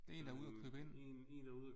Det er en der er ude og købe ind